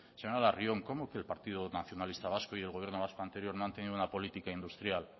señora larrion cómo que el partido nacionalista vasco y el gobierno vasco anterior no han tenido una política industrial